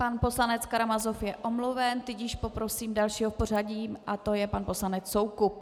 Pan poslanec Karamazov je omluven, tudíž poprosím dalšího v pořadí a tím je pan poslanec Soukup.